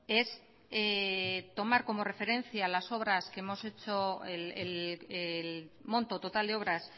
es tomar como referencia las obras que hemos hecho el monto total de obras